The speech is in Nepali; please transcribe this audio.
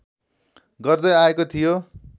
गर्दै आएको थियो।